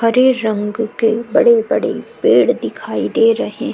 हरे रंग के बड़े-बड़े पेड़ दिखाई दे रहें।